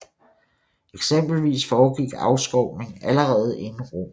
Eksempelvis foregik afskovning allerede inden romertiden